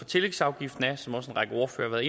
tillægsafgiften er som også en række ordførere